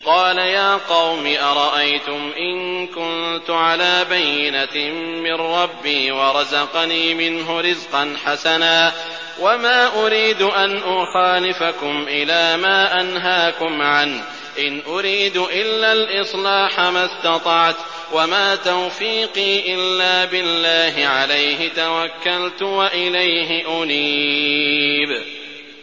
قَالَ يَا قَوْمِ أَرَأَيْتُمْ إِن كُنتُ عَلَىٰ بَيِّنَةٍ مِّن رَّبِّي وَرَزَقَنِي مِنْهُ رِزْقًا حَسَنًا ۚ وَمَا أُرِيدُ أَنْ أُخَالِفَكُمْ إِلَىٰ مَا أَنْهَاكُمْ عَنْهُ ۚ إِنْ أُرِيدُ إِلَّا الْإِصْلَاحَ مَا اسْتَطَعْتُ ۚ وَمَا تَوْفِيقِي إِلَّا بِاللَّهِ ۚ عَلَيْهِ تَوَكَّلْتُ وَإِلَيْهِ أُنِيبُ